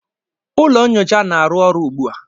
Ụlọ nyocha na-arụ ọrụ ugbu a